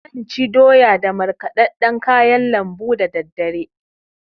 Zan ci doya da markɗaɗɗan kayan lambu dadaddare.